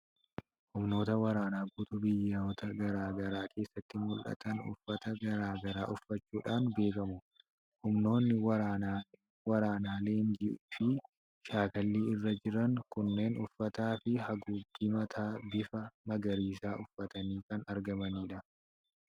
Humnoota waraanaa guutuu biyyoota garaa garaa keessatti mul'atan uffata gara garaa uffachuudhaan beekamu. Humnoonni waraanaa leenjii fi shaakallii irra jiran kunneen uffataa fi haguuggii mataa bifa magariisaa uffatanii kan argamanidha.